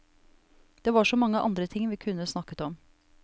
Det var så mange andre ting vi kunne snakket om.